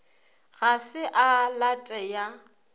ga se a late ya